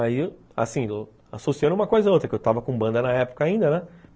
Aí, assim, associando uma coisa a outra, que eu estava com banda na época ainda, né?